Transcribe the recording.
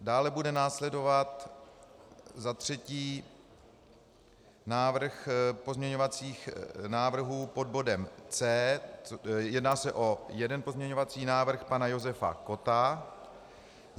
Dále bude následovat, za třetí, návrh pozměňovacích návrhů pod bodem C, jedná se o jeden pozměňovací návrh pana Josefa Kotta.